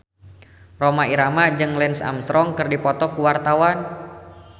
Rhoma Irama jeung Lance Armstrong keur dipoto ku wartawan